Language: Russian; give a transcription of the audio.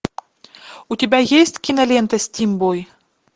у тебя есть кинолента стимбой